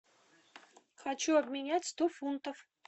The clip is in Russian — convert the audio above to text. хочу обменять сто фунтов